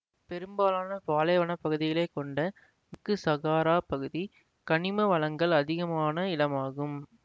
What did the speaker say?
பெரும்பாலான பாலைவன பகுதிகளை கொண்ட மேற்கு சகாரா பகுதி கனிம வளங்கள் அதிகமான இடமாகும்